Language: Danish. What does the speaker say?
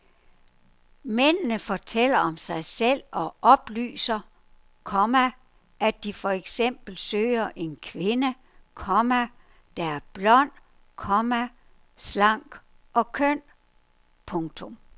Mændene fortæller om sig selv og oplyser, komma at de for eksempel søger en kvinde, komma der er blond, komma slank og køn. punktum